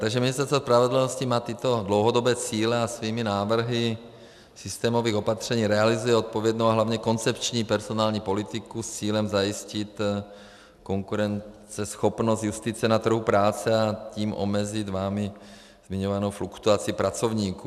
Takže Ministerstvo spravedlnosti má tyto dlouhodobé cíle a svými návrhy systémových opatření realizuje odpovědnou a hlavně koncepční personální politiku s cílem zajistit konkurenceschopnost justice na trhu práce, a tím omezit vámi zmiňovanou fluktuaci pracovníků.